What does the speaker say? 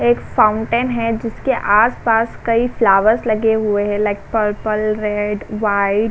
एक फाउंटेन है जिसके आस-पास कई फ्लावर्स लगे हुए हैं। Like purple red white --